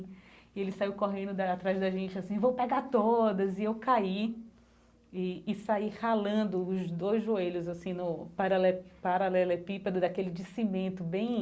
E ele saiu correndo da atrás da gente assim, vou pegar todas, e eu caí e e saí ralando os dois joelhos, assim, no parale paralelepípedo daquele de cimento bem